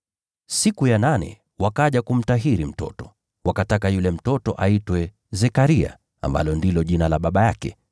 Siku ya nane wakaja kumtahiri mtoto, wakataka yule mtoto aitwe Zekaria, ambalo ndilo jina la baba yake.